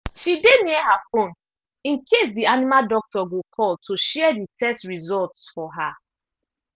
she dey near her phone in case the animal doctor go call to share the test results for her